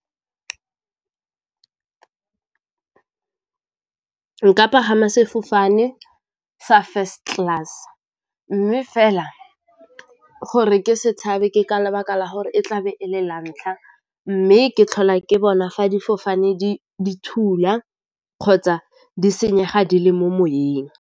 Nka pagama sefofane sa First Class, mme fela go re ke setshaba ke ka lebaka la gore e tlabe e le la ntlha mme ke tlhola ke bona fa difofane di thula kgotsa di senyega di le mo moweng.